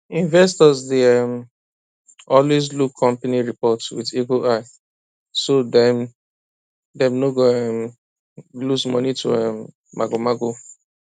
investors dey um always look company report with eagle eye so dem dem no um go lose money to um magomago